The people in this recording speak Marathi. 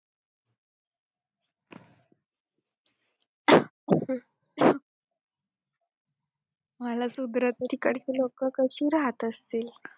मला तिकडची लोकं कशी राहत असतील?